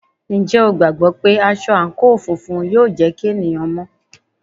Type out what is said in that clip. Ǹjẹ́ o gbàgbọ́ wípé aṣọ àǹkóò funfun yóò jẹ́ kí ènìyàn máa mọ́?